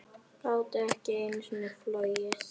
Gátu ekki einu sinni flogið.